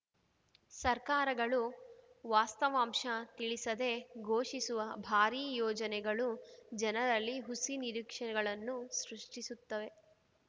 ಸರ್ಕಾರಗಳು ವಾಸ್ತವಾಂಶ ತಿಳಿಸದೆ ಘೋಷಿಸುವ ಭಾರೀ ಯೋಜನೆಗಳು ಜನರಲ್ಲಿ ಹುಸಿ ನಿರೀಕ್ಷೆಗಳನ್ನು ಸೃಷ್ಟಿಸುತ್ತವೆ